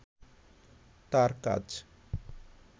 তার কাজ